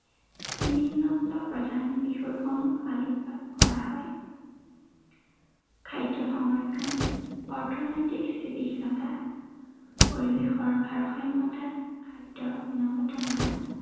নিম্নোক্ত প্ৰধান বিষয়সমূহ আলোকপাত কৰা হয়। খাদ্য় সংৰক্ষণ, অৰ্থনৈতিক স্থিতিশীলতা, পৰিৱেশৰ ভাৰসাম্য়তা, খাদ্য়ৰ গুণগত মান